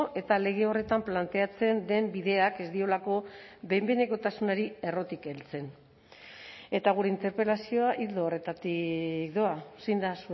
eta lege horretan planteatzen den bideak ez diolako behin behinekotasunari errotik heltzen eta gure interpelazioa ildo horretatik doa zein da